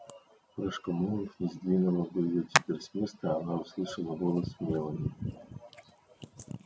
упряжка мулов не сдвинула бы её теперь с места она услышала голос мелани